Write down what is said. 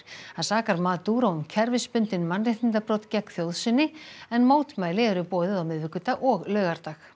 hann sakar Maduro um kerfisbundin mannréttindabrot gegn þjóð sinni en mótmæli eru boðuð á miðvikudag og laugardag